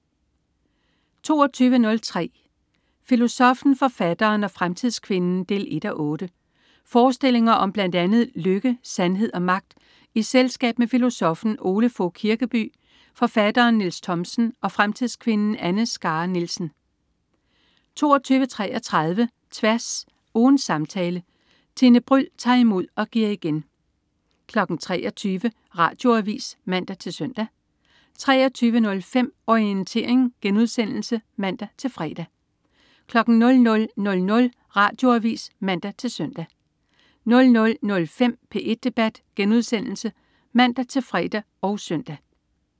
22.03 Filosoffen, forfatteren og fremtidskvinden 1:8. Forestillinger om blandt andet lykke, sandhed og magt i selskab med filosoffen Ole Fogh Kirkeby, forfatteren Niels Thomsen og fremtidskvinden Anne Skare Nielsen 22.33 Tværs. Ugens samtale. Tine Bryld tager imod og giver igen 23.00 Radioavis (man-søn) 23.05 Orientering* (man-fre) 00.00 Radioavis (man-søn) 00.05 P1 debat* (man-fre og søn)